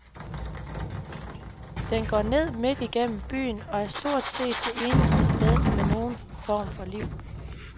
Den går ned midt gennem byen og er stort set det eneste sted med nogen form for liv.